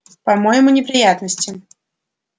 по-моему неприятности